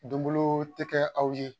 Donbolo tɛ kɛ aw ye